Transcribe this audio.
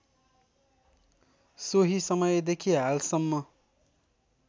सोही समयदेखि हालसम्म